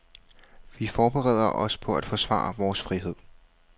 Vi forbereder os på at forsvare vores frihed.